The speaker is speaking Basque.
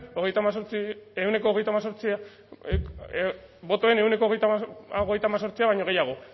botoen ehuneko hogeita hemezortzia baino gehiago